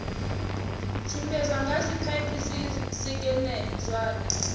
tshimbidzwa nga zwipaipi zwisekene zwine